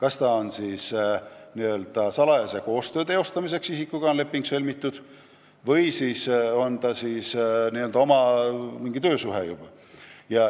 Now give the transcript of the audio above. Olgu siis tegu salajase koostöö tegemise lepinguga või juba mingi töösuhtega.